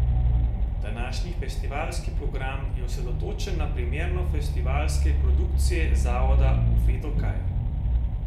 Današnji festivalski program je osredotočen na premiero festivalske produkcije Zavoda Bufeto Kaj?